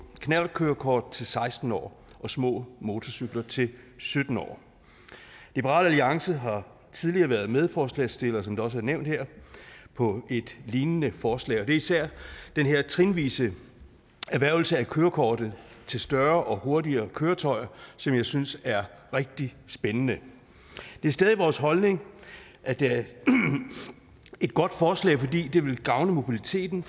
knallertkørekort til seksten år og for små motorcykler til sytten år liberal alliance har tidligere været medforslagsstiller som det også er nævnt her på et lignende forslag det er især den her trinvise erhvervelse af kørekortet til større og hurtigere køretøjer som jeg synes er rigtig spændende det er stadig vores holdning at det er et godt forslag fordi det vil gavne mobiliteten